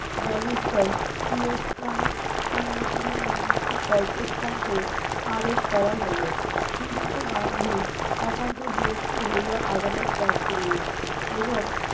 barrister শিরস্থান উন্মোচনে নিয়মিত্ত কর্কশ কণ্ঠে আদেশ করা হইলো শ্রীযুক্ত গান্ধী একান্ত বিরক্ত হইয়া আদালত ত্যাগ করিলেন এবং